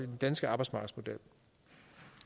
den danske arbejdsmarkedsmodel